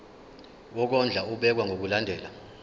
wokondla ubekwa ngokulandlela